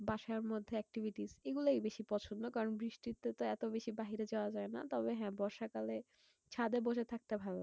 বাসার মধ্যে activities এইগুলোই বেশি পছন্দ। কারণ বৃষ্টিতেতো এত বেশি বাইরে যাওয়া যায়না। তবে হ্যাঁ বর্ষা কালে ছাদে বসে থাকতে ভালো লাগে।